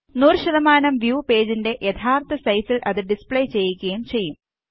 100 view പേജിന്റെ യഥാര്ത്ഥ സൈസില് അത് ഡിസ്പ്ലേ ചെയ്യിക്കും ചെയ്യും